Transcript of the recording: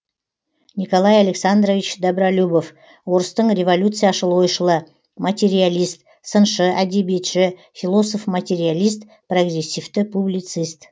николай александрович добролюбов орыстың революцияшыл ойшылы материалист сыншы әдебиетші философ материалист прогрессивті публицист